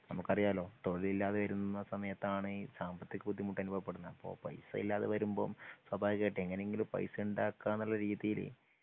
നമുക്കറിയാലോ തൊഴിലില്ലാതെ വരുന്ന സമയത്താണ് ഈ സാമ്പത്തിക ബുദ്ധിമുട്ട് അനുഭവ പെടുന്നത്. പൈസ ഇല്ലാതെ വരുമ്പോൾ സ്വഭാവികമായിട്ടും എങ്ങനെങ്കിലും പൈസ ഉണ്ടാക്കാനുള്ള രീതിയില്